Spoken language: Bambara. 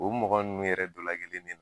O mɔgɔ ninnu yɛrɛ dɔlakelen bɛ